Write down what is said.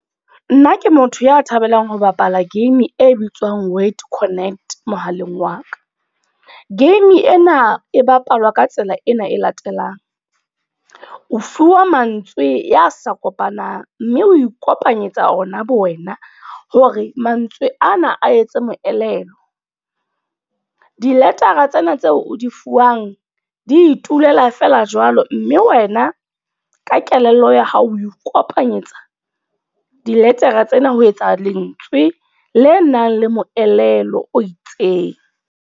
Nna ke motho ya thabelang ho bapala game e bitswang word connect, mohaleng wa ka. Game ena e bapalwa ka tsela ena e latelang. O fuwa mantswe ya sa kopanang. Mme o ikopanyetsa ona bo wena, hore mantswe ana a etse moelelo. Di letara tsena tseo o di fuwang, di itulela feela jwalo. Mme wena ka kelello ya hao, o nkopanyetsa diletara tsena ho etsa lentswe le nang le moelelo.